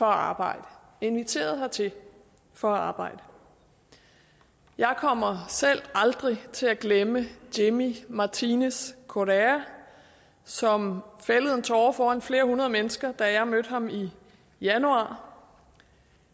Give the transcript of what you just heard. arbejde inviteret hertil for at arbejde jeg kommer selv aldrig til at glemme jimmy martinez correa som fældede en tåre foran flere hundrede mennesker da jeg mødte ham i januar